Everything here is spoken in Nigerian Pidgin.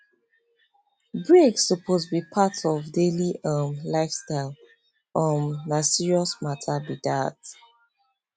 break suppose be part of daily um lifestyle um na serious matter be that